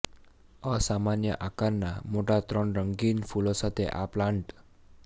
અસામાન્ય આકારના મોટા ત્રણ રંગીન ફૂલો સાથે આ પ્લાન્ટ